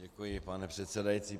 Děkuji, pane předsedající.